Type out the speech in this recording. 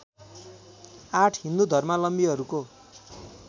८ हिन्दू धर्मावलम्बीहरूको